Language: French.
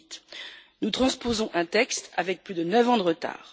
2008. Nous transposons un texte avec plus de neuf ans de retard.